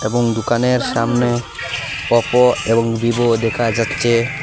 এবং দোকানের সামনে অপো এবং ভিভো দেখা যাচ্ছে।